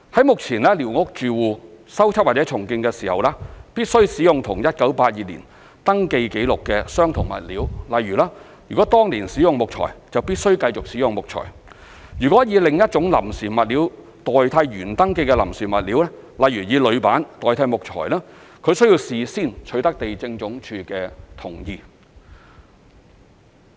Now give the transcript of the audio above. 目前，寮屋住戶進行修葺或重建，必須使用與1982年登記紀錄相同的物料，例如：如當年使用木材，則必須繼續使用木材；如以另一種臨時物料代替原登記的臨時物料，例如以鋁板代替木材，則須事先取得地政總署的同意。